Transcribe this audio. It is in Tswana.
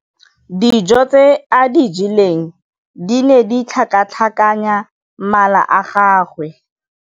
Dijô tse a di jeleng di ne di tlhakatlhakanya mala a gagwe.